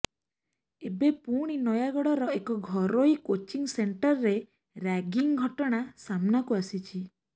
ଏବେ ପୁଣି ନୟାଗଡ଼ର ଏକ ଘରୋଇ କୋଚିଂ ସେଣ୍ଟରରେ ରାଗିଙ୍ଗ ଘଟଣା ସାମ୍ନାକୁ ଆସିଛି